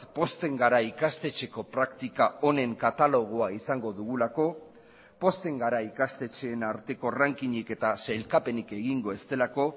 pozten gara ikastetxeko praktika honen katalogoa izango dugulako pozten gara ikastetxeen arteko ranking ik eta sailkapenik egingo ez delako